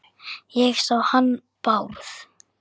Ég sá hann Bárð.